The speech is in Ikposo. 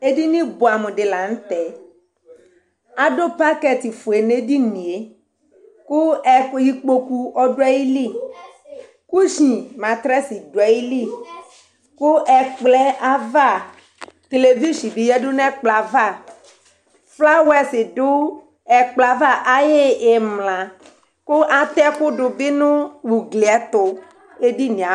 éɖɩŋɩ ɓʊɛ amu ɖi la ŋʊtɛ aɖʊ paƙɛt ƒoé n'éɖiŋɩé ƙʊ ɩkpoƙʊ ɩƙpoƙʊ ɔɖʊ ayɩlɩ kʊshɩŋ matrɛs ɖʊ ayili ƙʊ ɛkplɔ aʋa ƙléʋɩshɩŋ ƴaɖu ɛkplɔ aʋa ƒlawɛs ɖʊ ɛƙplɔ aʋa aƴʊ ɩmla ƙʊ atɛ ƙʊ ɓɩ ɖʊ ŋʊ ʊglɩ tʊ éɖɩŋɩé aɓʊɛ